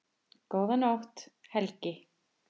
Góða nótt, Helgi.